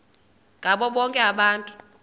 ngabo bonke abantu